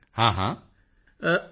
ਮੋਦੀ ਜੀ ਹਾਂ ਹਾਂ